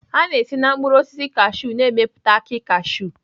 A na-esi na mkpụrụ osisi cashew na-emepụta akị cashew